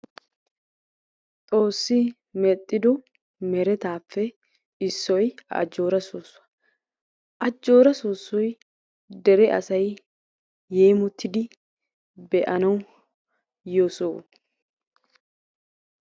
Xoossi medhdhido meretappe issoy ajjora sossuwaa. ajjora soosoy asay yemmotidi be'anaw yiyoo sohuwaa.